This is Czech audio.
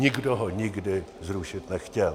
Nikdo ho nikdy zrušit nechtěl.